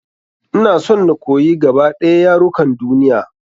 Ina son na koyi gaba ɗaya yarukan duniya.